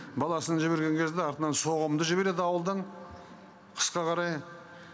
баласын жіберген кезде артынан соғымды жібереді ауылдан қысқа қарай